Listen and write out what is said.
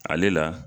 Ale la